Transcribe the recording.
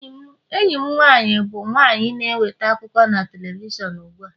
enyi m nwanyị bụ nwanyị na-eweta akụkọ na telivishọn ugbu a